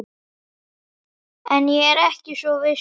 En ég er ekki svo viss núna